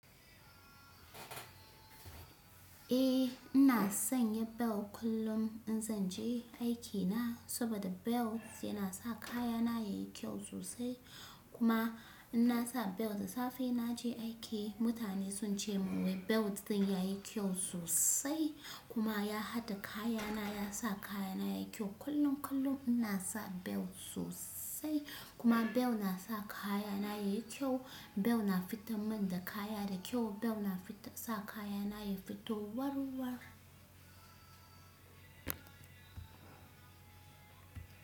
Eh, ina sanya bel kullum in zan je aikina saboda bel yana sa kayana yayi kyau sosai. Kuma ina sa bel da safe na je aiki, mutane sun ce min wai bel din yayi kyau sosai kuma ya hada da kayana, ya sa kayana yayi kyau. Kullum kullum ina sa bel sosai kuma bel na sa kayana yayi kyau. Bel na fita min da kaya da kyau. Bel na fita sa kayana yayi fito war war.